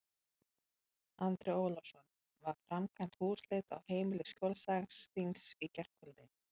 Andri Ólafsson: Var framkvæmd húsleit á heimili skjólstæðings þíns í gærkvöldi?